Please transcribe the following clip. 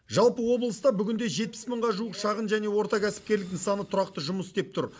жалпы облыста бүгінде жетпіс мыңға жуық шағын және орта кәсіпкерлік нысаны тұрақты жұмыс істеп тұр